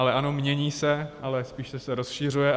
Ale ano, mění se, ale spíše se rozšiřuje.